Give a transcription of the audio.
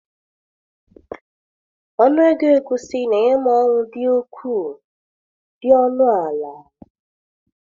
Ọnụ ego egusi na-enye m ọṅụ dị ukwuu! dị ọnụ ala!!!.